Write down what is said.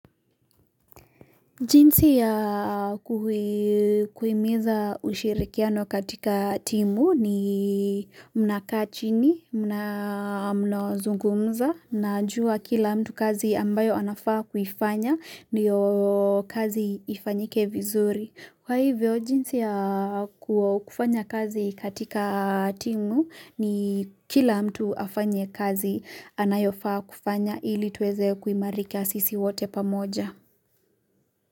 Jinsi ya kuhimiza ushirikiano katika timu ni mnakaa chini, mnazungumza mnajuwa kila mtu kazi ambayo anafaa kuifanya, ndiyo kazi ifanyike vizuri. Kwa hivyo, jinsi ya kufanya kazi katika timu, ni kila mtu afanye kazi anayofaa kufanya ili tuweze kuimarika sisi wote pamoja.